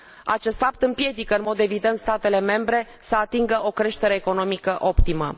Acest fapt împiedică, în mod evident, statele membre să atingă o creștere economică optimă.